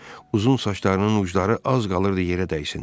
Uzun saçlarının ucları az qalırdı yerə dəysin.